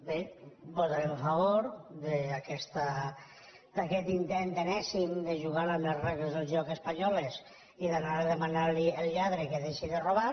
bé votarem a favor d’aquest intent enèsim de ju·gar amb les regles del joc espanyoles i d’anar a dema·nar al lladre que deixi de robar